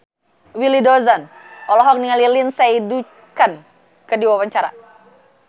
Willy Dozan olohok ningali Lindsay Ducan keur diwawancara